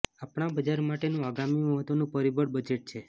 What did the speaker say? આપણા બજાર માટેનું આગામી મહત્ત્વનું પરિબળ બજેટ છે